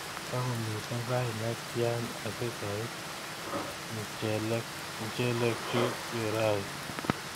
Tigomito sait netya asigoit mchelekchu yurayu